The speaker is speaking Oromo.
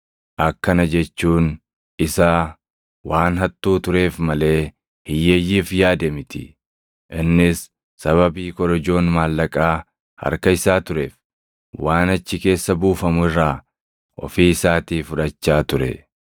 Akkana jechuun isaa waan hattuu tureef malee hiyyeeyyiif yaade miti. Innis sababii korojoon maallaqaa harka isaa tureef, waan achi keessa buufamu irraa ofii isaatii fudhachaa ture.